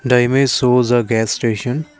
the image shows a gas station